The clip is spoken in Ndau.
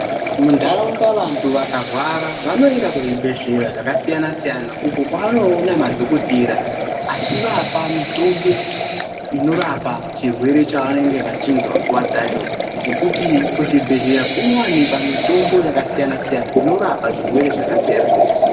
Muntharaunda vantu vakarwara vanoenda kuzvibhedhlera zvakasiyana -siyana, uko kwawanoona madhokotera achiwapa mitombo inorapa chirwere chawanenge vachinzwa nguva dzacho. nekuti kuzvibhedhlera kunowanikwa mitombo yakasiyana-siyana, inorapa zvirwere zvakasiyana-siyana.